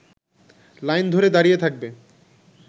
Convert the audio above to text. line ধরে দাঁড়িয়ে থাকবে